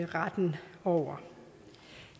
retten over